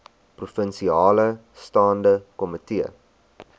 provinsiale staande komitee